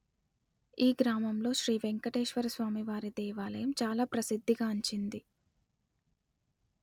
ఈ గ్రామములో శ్రీ వెంకటేశ్వర స్వామి వారి దేవాలయము చాలా ప్రసిద్ది గాంచింది